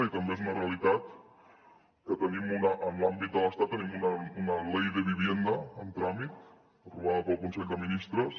i també és una realitat que en l’àmbit de l’estat tenim una ley de vivienda en tràmit aprovada pel consell de ministres